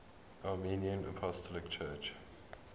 armenian apostolic church